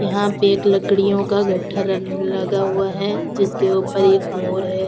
यहाँ पे एक लकड़ियों का गट्ठर लगा हुआ है जिसके ऊपर एक मोर है।